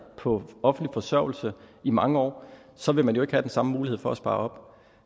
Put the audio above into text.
på offentlig forsørgelse i mange år så vil man jo ikke have den samme mulighed for at spare op